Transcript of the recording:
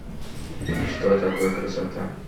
что такое красота